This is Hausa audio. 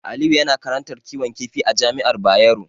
Aliyu yana karantar kiwon kifi a Jami'ar Bayero.